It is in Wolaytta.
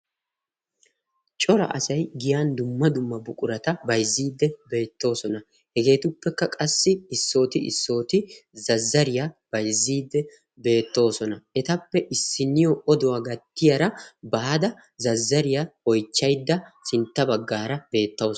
cora asay giyaan dumma dumma buqurata bayzzidi bettoosona. hegetuppekka qassi issooti issoti zazzariyaa bayzzidi beettoosona. etappe issiniyo oduwaa gattiyaara baada zazzariyaa oychchaydda sintta baggaara beettawus.